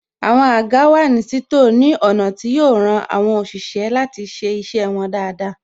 Àwọn àga wà ní títò ní ọ̀nà tí yo ran àwọn òṣìṣẹ́ láti ṣe iṣẹ́ wọn dáadáa